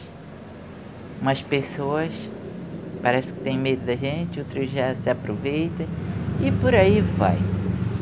Umas pessoas parecem que têm medo da gente, outras já se aproveitam e por aí vai.